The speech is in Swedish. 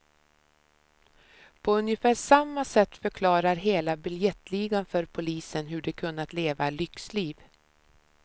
På ungefär samma sätt förklarar hela biljettligan för polisen hur de kunnat leva lyxliv.